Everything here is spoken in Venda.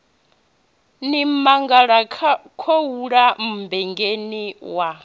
ni mangala khouḽa mmbengeni wa